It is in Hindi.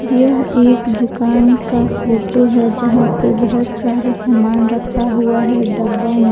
यह एक दुकान का फोटो है यहां पे बहुत सारा सामान रखा हुआ है डब्बा में।